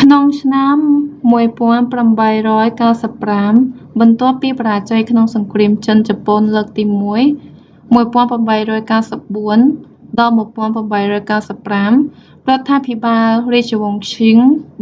ក្នុងឆ្នាំ1895 បន្ទាប់ពីបរាជ័យក្នុងសង្គ្រាមចិន-ជប៉ុនលើកទីមួយ 1894-1895 រដ្ឋាភិបាលរាជវង្សឈិង